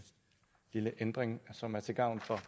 lille ændring som er til gavn for